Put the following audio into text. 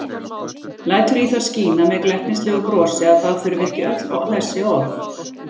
Lætur í það skína með glettnislegu brosi að það þurfi ekki öll þessi orð.